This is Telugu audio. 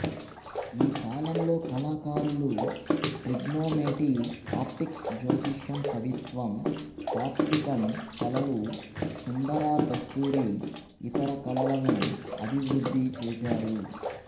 ఈ కాలంలో కళాకారులు ట్రిగ్నోమెటీ ఆప్టిక్స్ జ్యోతిషం కవిత్వం తాత్వికం కళలు సుందర దస్తూరి ఇతర కళలను అభివృద్ధిచేసారు